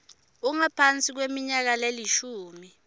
ungaphasi kweminyaka lelishumi